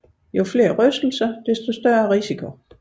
Jo flere rystelser desto større risiko